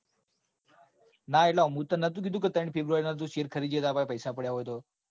ના એટલે મેં તન નતું કીધું કે ત્રણ february ના તું શેર ખરીદજે તાર પાસે પૈસા પડ્યા હોયન્તો.